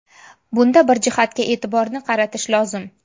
Bunda bir jihatga e’tiborni qaratish lozim.